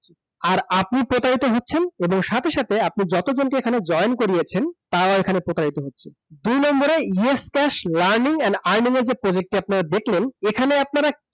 আর আপনি প্রতারিত হচ্ছেন এবং সাথে সাথে আপনি যতজনকে এখানে join করিয়েছেন তারাও প্রতারিত হচ্ছে। দুই number এ yaskash Yascash learning and earning এর যে project টি আপনারা দেখলেন এখানে আপনারা